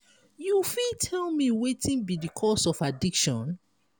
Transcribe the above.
you fit tell me wetin be di cause of addiction?